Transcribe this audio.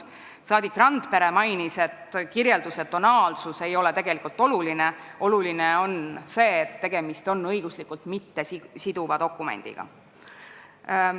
Saadik Randpere mainis, et kirjelduse tonaalsus ei ole tegelikult oluline, oluline on see, et tegemist on õiguslikult mittesiduva dokumendiga.